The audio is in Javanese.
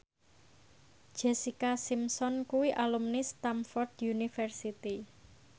Jessica Simpson kuwi alumni Stamford University